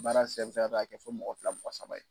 baara sen fɛ k'a kɛ fo mɔgɔ fila fila saba ye